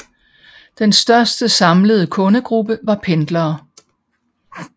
Den største samlede kundegruppe var pendlere